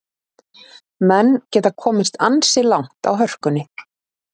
Menn geta komist ansi langt á hörkunni.